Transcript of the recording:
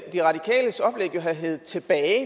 de radikales oplæg jo have heddet tilbage